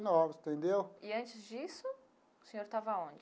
Nove entendeu? E antes disso o senhor estava aonde?